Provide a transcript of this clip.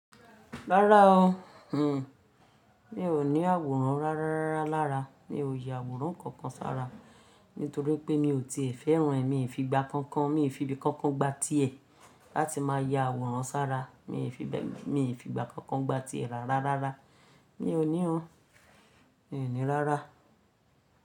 Rárá o. N o ní àwòrán rárá rárá lára. Mi ò yà àwòrán kankan sára, nítorí pé mi ò tíì fẹ́ràn ẹ́. Mi fi gba kankan, mi fi ibi kankan gba ti ẹ láti máa ya àwòrán sára. Mi fi bẹ́, mi fi gba kankan gba ti ẹ rárá rárá. Mi ò ní o. Mi ò ní rárá.